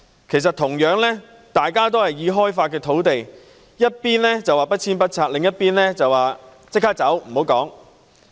兩者同樣是已開發土地，一邊說要不遷不拆，另一邊則要求立即搬走，無須多說。